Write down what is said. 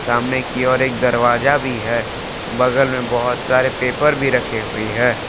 सामने की ओर एक दरवाजा भी है बगल में बहुत सारे पेपर भी रखे हुई है।